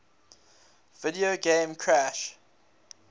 video game crash